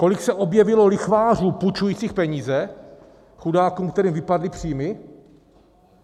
Kolik se objevilo lichvářů půjčujících peníze chudákům, kterým vypadly příjmy?